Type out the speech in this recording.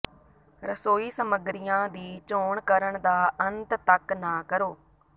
ਰਸੋਈ ਸਮੱਗਰੀਆਂ ਦੀ ਚੋਣ ਕਰਨ ਦਾ ਅੰਤ ਤਕ ਨਾ ਕਰੋ